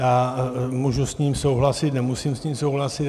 Já můžu s ním souhlasit, nemusím s ním souhlasit.